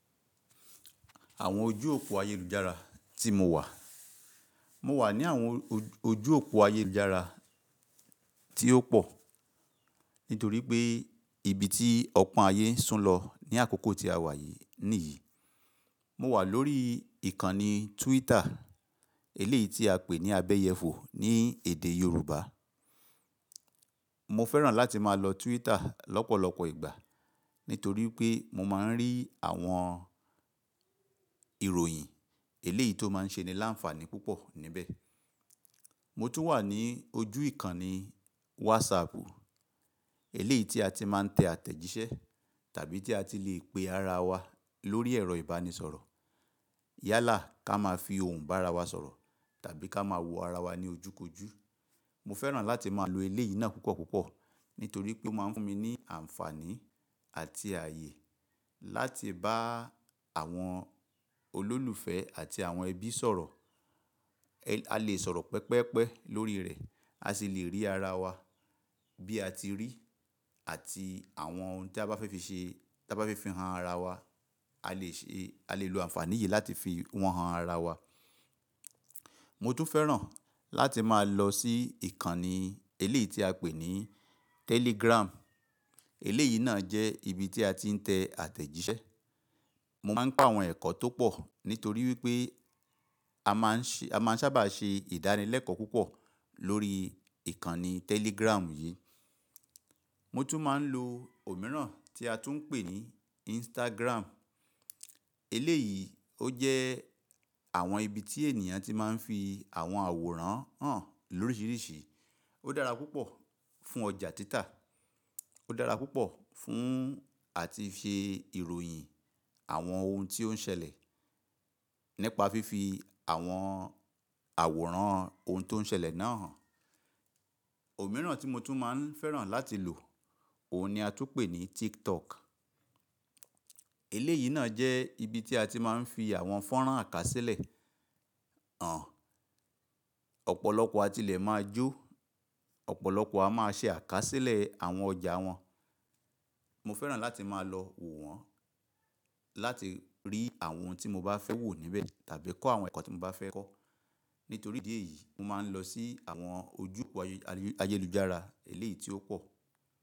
Àwọn ojú òpó ayélujára tí mo wà. Mo wà ní àwọn ojú òpó ayélujára tí ó pọ̀, nítorí pé ibi tí ọ̀pọ̀ ayé sùn lọ ní àkókò tí a wà yi níyì. Mo wà lórí ìkànnì Twitter, eléyì tí a pè ní abẹ́yẹfò ní èdè Yorùbá. Mo fẹ́ràn láti máa lọ Twitter lọ́pọ̀lọpọ̀ ìgbà, nítorí pé mo máa ń rí àwọn ìròyìn eléyì tó máa ń ṣe ni láǹfààní púpọ̀ níbẹ̀. Mo tún wà ní ojú ìkànnì WhatsApp, eléyì tí a ti máa ń tẹ àtẹ̀jíṣẹ́ tàbí tí a ti le pe ara wa lórí ẹ̀rọ ìbánisọ̀rọ̀. Yálà ká máa fi ohùn bá ara wa sọ̀rọ̀ tàbí ká máa wò ara wa ní ojúkójú. Mo fẹ́ràn láti máa lo eléyì náà púpọ̀púpọ̀, nítorí pé ó máa ń fún mi ní àǹfààní àti ààyè láti bá àwọn olólùfẹ́ àti àwọn ẹbí sọ̀rọ̀. A lè sọ̀rọ̀ pẹ́pẹ́pẹ́ lórí rẹ̀, a sì lè rí ara wa bí a ti rí àti àwọn ohun tí a bá fẹ́ fi ṣe, tí a bá fẹ́ fi han ara wa, a lè ṣe, a lè lo àǹfààní yìí láti fi wọn han ara wa. Mo tún fẹ́ràn láti máa lọ sí ìkànnì eléyì tí a pè ní Telegram. Eléyì náà jẹ́ ibi tí a ti ń tẹ àtẹ̀jíṣẹ́. Mo máa ń gbọ́ àwọn ẹ̀kọ́ tó pọ̀, nítorí wípé a máa ń ṣàbà ṣe ìdánilẹ́kọ̀ọ́ púpọ̀ lórí ìkànnì Telegram yìí. Mo tún máa ń lo òmíràn tí a tún ń pè ní Instagram. Eléyì ó jẹ́ àwọn ibi tí ènìyàn ti máa ń fi àwọn àwòrán hàn lóríṣiríṣi. Ó dára púpọ̀ fún ọjà títà, ó dára púpọ̀ fún àti fi ìròyìn àwọn ohun tí ó ń ṣẹlẹ̀ nípa fífi àwọn àwòrán ohun tó ń ṣẹlẹ̀ náà hàn. Òmíràn tí mo tún máa ń fẹ́ràn láti lò, òun ni a tún ń pè ní TikTok. Eléyì náà jẹ́ ibi tí a ti máa ń fi àwọn fọ́nrán àkásílẹ̀ hàn. Ọ̀pọ̀lọpọ̀ àtilẹ̀ máa jó, ọ̀pọ̀lọpọ̀ a máa ṣe àkásílẹ̀ àwọn ọjà wọn. Mo fẹ́ràn láti máa lọ wò wọ́n, láti rí àwọn ohun tí mo bá fẹ́ wò níbẹ̀ tàbí kọ́ àwọn ẹ̀kọ́ tí mo bá fẹ́ kọ́. Nítorí ìdí èyí, mo máa ń lọ sí àwọn ojú òpó ayélujára eléyì tí ó pọ̀.